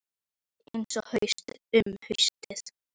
Það var ekki þetta sem ég ætlaði að kenna honum.